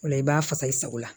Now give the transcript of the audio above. O la i b'a fasa i sago la